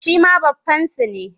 Shi ma baffansu ne.